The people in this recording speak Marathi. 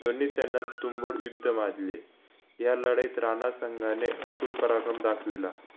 दोन्ही सैन्यात तुंबड युद्ध माजले या लढाईत रानसंघाने अतुल पराक्रम दाखविला